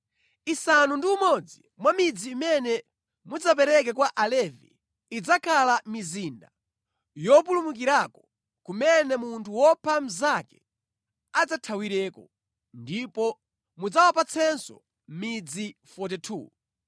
“Isanu ndi umodzi mwa midzi imene mudzapereke kwa Alevi idzakhala mizinda yopulumukirako, kumene munthu wopha mnzake adzathawireko. Ndipo mudzawapatsenso midzi ina 42.